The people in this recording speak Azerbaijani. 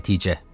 Nəticə.